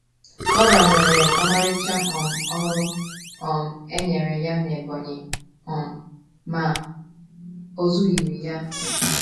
Kora nwere ọmarịcha um ọrụ um e nyere ya n’Ebonyi um, ma o zughịrị ya.